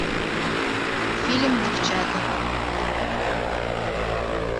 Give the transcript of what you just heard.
фильм девчата